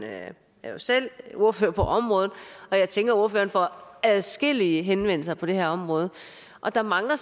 er jo selv ordfører på området og jeg tænker ordføreren får adskillige henvendelser på det her område der mangler